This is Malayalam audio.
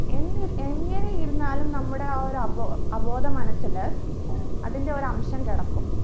എന്നി എങ്ങനെയിരുന്നാലും നമ്മുടെ ആ ഒരു അവോ അബോധ മനസ്സില് അതിന്റെ ഒരു അംശം കിടക്കും